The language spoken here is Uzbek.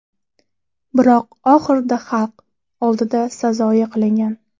Biroq oxirida xalq oldida sazoyi qilingan.